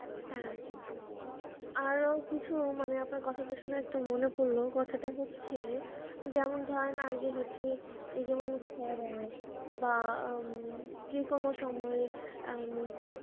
হ্যাঁ আরও কিছু মানে আপনার কথা শুনে একটু মনে পড়লো কথাটা হচ্ছে যেমন ধরেন আগে হচ্ছে এই যেমন বা উম যে কোনো সময়ে উম